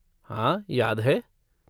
हाँ, याद है।